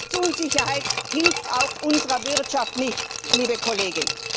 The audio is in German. Rechtsunsicherheit hilft auch unserer Wirtschaft nicht, liebe Kollegin.